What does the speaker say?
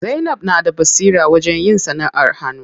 Zainab na da basira wajen yin sanaʼar hannu.